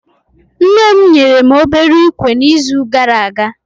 Nne mụ nyere mụ obere ikwe na izu gara aga